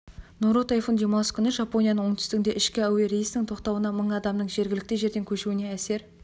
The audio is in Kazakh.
нору тайфун демалыс күні жапоняның оңтүстігінде ішкі әуе рейсінің тоқтауына мың адамның жергілікті жерден көшуіне әсер